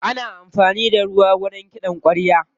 Ana amfani da ruwa wajen kiɗan ƙwarya.